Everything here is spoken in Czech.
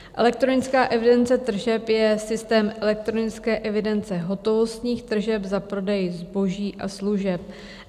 Elektronická evidence tržeb je systém elektronické evidence hotovostních tržeb za prodej zboží a služeb.